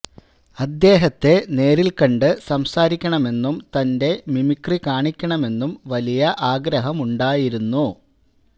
അദ്ദേഹത്തെ നേരില് കണ്ട് സംസാരിക്കണമെന്നും തന്റെ മിമിക്രി കാണിക്കണമെന്നും വലിയ ആഗ്രഹമുണ്ടായിരുന്നു